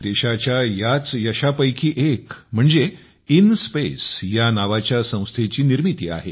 देशाच्या याच यशापैकी एक म्हणजे इनस्पेस या नावाच्या संस्थेची निर्मिती आहे